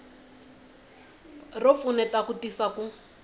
ro pfuneta ku tisa ku